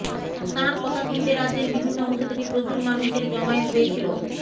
তাঁর কথা শুনতে রাজ্যের বিভিন্ন অংশ থেকে প্রচুর মানুষের জমায়েত হয়েছিল